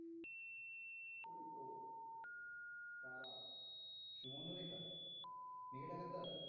সুবর্ন রেখা মেঘে ঢাকা তারা